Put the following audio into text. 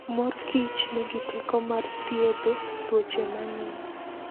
Mor kich nigi teko mar thiedho tuoche mang'eny.